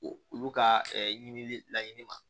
Olu ka ɲinili laɲini ma